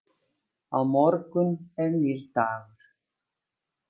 Á morgun er nýr dagur.